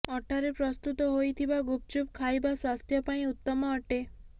ଅଟାରେ ପ୍ରସ୍ତୁତ ହୋଇଥିବା ଗୁପଚୁପ ଖାଇବା ସ୍ୱାସ୍ଥ୍ୟ ପାଇଁ ଉତ୍ତମ ଅଟେ